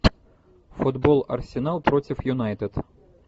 футбол арсенал против юнайтед